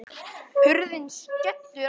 Hurðin skellur aftur.